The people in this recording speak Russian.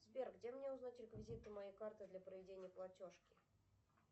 сбер где мне узнать реквизиты моей карты для проведения платежки